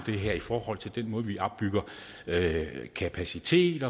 det her i forhold til den måde vi opbygger kapacitet